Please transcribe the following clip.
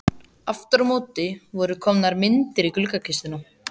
Aftur á móti voru komnar myndir í gluggakistuna.